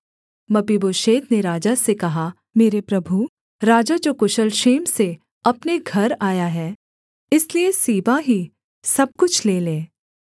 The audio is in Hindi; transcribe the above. मपीबोशेत ने राजा से कहा मेरे प्रभु राजा जो कुशल क्षेम से अपने घर आया है इसलिए सीबा ही सब कुछ ले ले